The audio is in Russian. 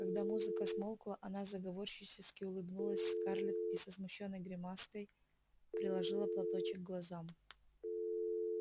когда музыка смолкла она заговорщически улыбнулась скарлетт и со смущённой гримаской приложила платочек к глазам